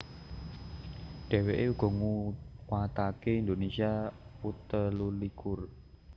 Dheweke uga nguwatake Indonesia U telulikur